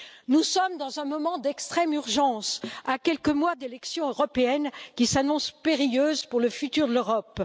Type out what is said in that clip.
Nous sommes dans un moment d'extrême urgence, à quelques mois d'élections européennes qui s'annoncent périlleuses pour le futur de l'Europe.